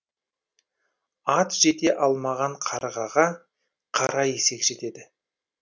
ат жете алмаған қарғаға қара есек жетеді